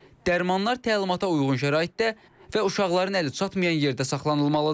Dərmanlar təlimata uyğun şəraitdə və uşaqların əli çatmayan yerdə saxlanılmalıdır.